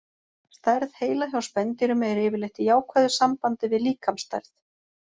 Stærð heila hjá spendýrum er yfirleitt í jákvæðu sambandi við líkamsstærð.